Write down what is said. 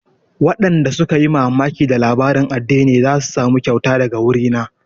Waɗanda suka yi mamaki da labarin addinin za su samu kyauta daga wuri na